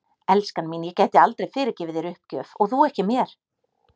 Elskan mín, ég gæti aldrei fyrirgefið þér uppgjöf og þú ekki mér.